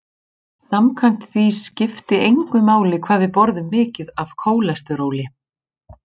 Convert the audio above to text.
Samkvæmt því skipti engu máli hvað við borðum mikið af kólesteróli.